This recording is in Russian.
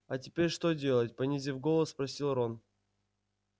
а теперь что делать понизив голос спросил рон